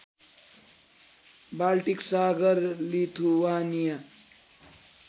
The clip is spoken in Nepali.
बाल्टिक सागर लिथुवानिया